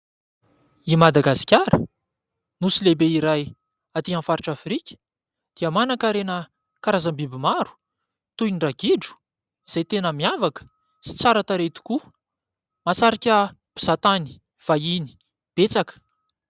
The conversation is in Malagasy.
I Madagasikara nosy lehibe iray aty amin'ny faritra Afrika dia manan-karena karazam-biby maro toy ny : Ragidro ; izay tena miavaka sy tsara tarehy tokoa. Mahasarika mpizahatany vahiny betsaka.